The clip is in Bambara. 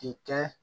K'i kɛ